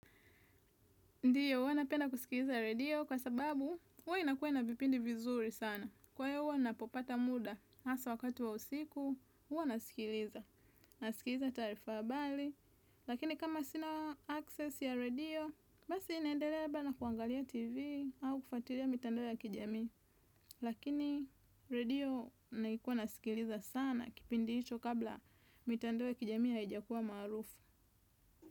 Ndiyo, huwa napenda kusikiliza radio kwa sababu, huwa inakuwa na vipindi vizuri sana. Kwa hayo huwa napopata muda, hasa wakati wa usiku, huwana nasikiliza. Nasikiliza taarifa habali, lakini kama sina access ya radio, basi naendelea labda na kuangalia tv au kufuatilia mitandao ya kijami. Lakini, radio naikuwa nasikiliza sana kipindi hicho kabla mitandao ya kijami haijakuwa maarufu.